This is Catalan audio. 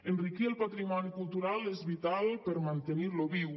enriquir el patrimoni cultural és vital per mantenir lo viu